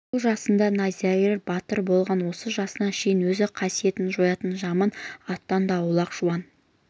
ол жасында найзагер батыр болған осы жасына шейін өз қасиетін жоятын жаман аттан да аулақ жуан